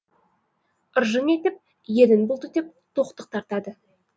ыржың етіп ернін бұлтитып тоқтық тартады